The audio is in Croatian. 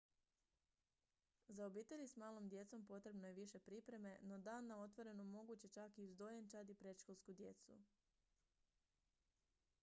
za obitelji s malom djecom potrebno je više pripreme no dan na otvorenon moguć je čak i uz dojenčad i predškolsku djecu